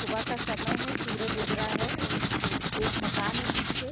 सुबह का समय है सूरज उग रहा है एक मकान है पीछे।